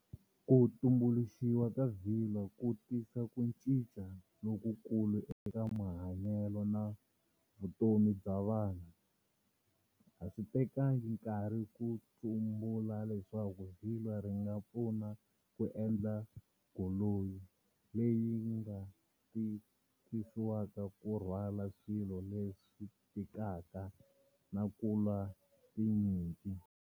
Kutumbuluxiwa ka vilwa ku tisa ku cinca loku kulu eka mahanyelo na vutomi bya vanhu. Aswitekanga nkarhi kutsumbula leswaku vilwa ringa pfuna ku endla golonyi leyinga tithisiwaka kurhwala swilo leswitikaka na kulwa tinyimpi.